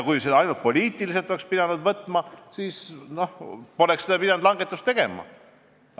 Kui seda ainult poliitiliselt oleks võetud, siis poleks pidanud seda langetust tegema.